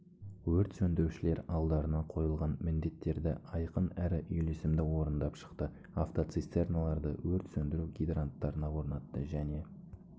өрт сөндірушілер алдарына қойылған міндеттерді айқын әрі үйлесімді орындап шықты автоцистерналарды өрт сөндіру гидранттарына орнатты және